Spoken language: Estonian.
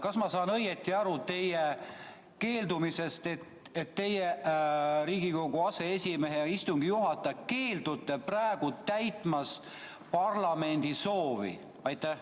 Kas ma saan õigesti aru teie keeldumisest – teie Riigikogu aseesimehe ja istungi juhatajana keeldute praegu täitmast parlamendi soovi?